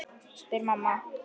spyr mamma.